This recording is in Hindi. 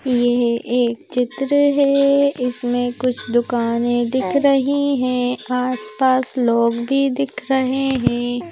यह एक चित्र है इसमें कुछ दुकानें दिख रही हैं आसपास लोग भी दिख रहे हैं।